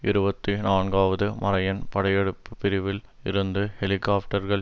இருபத்தி நான்காவது மரையன் படையெடுப்பு பிரிவில் இருந்து ஹெலிகாப்டர்கள்